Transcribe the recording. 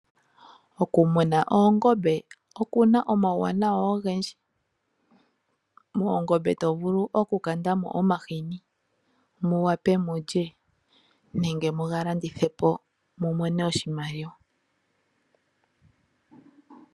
Okumuna oongombe okuna omawuwanawa ogendji . Moongombe tovulu oku kandamo omahini muwape mulye nenge muga landithepo mumone oshimaliwa.